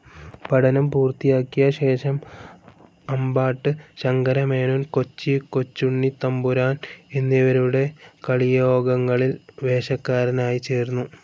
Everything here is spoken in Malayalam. പഠനം പൂർത്തിയാക്കിയശേഷം അമ്പാട്ട് സങ്കരമേനോൻ കൊച്ചി കൊച്ചുണ്ണിത്തമ്പുരാൻ എന്നിവരുടെ കളിയോഗങ്ങളിൽ വേഷക്കാരനായി ചേർന്നു